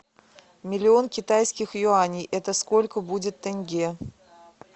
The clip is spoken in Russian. миллион китайских юаней это сколько будет тенге